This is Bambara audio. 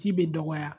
Ji bɛ dɔgɔya